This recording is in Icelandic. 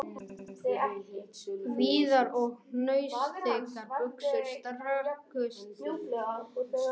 Víðar og hnausþykkar buxur strekktust yfir rassinn..